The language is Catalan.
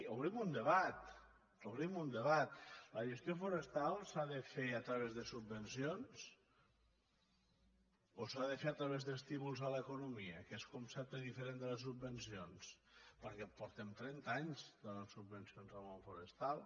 obrim un debat obrim un debat la gestió forestal s’ha de fer a través de subvencions o s’ha de fer a través d’estímuls a l’economia que és concepte diferent de les subvencions perquè fa trenta anys que donem subvencions al món forestal